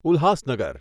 Ulhasnagar